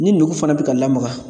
Ni nugu fana bɛ ka lamaga.